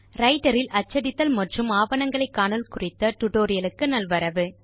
writer இல் அச்சடித்தல் மற்றும் ஆவணங்களை காணல் குறித்த டியூட்டோரியல் க்கு நல்வரவு